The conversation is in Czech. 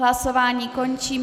Hlasování končím.